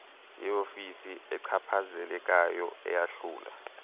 yeofisi echaphazelekayo eyahlula